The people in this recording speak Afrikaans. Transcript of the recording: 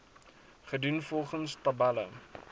gedoen volgens tabelle